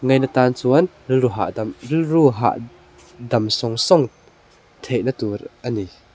ngaina tan chuan rilru hahdam rilru hah dam sawng sawng theih na tur a ni.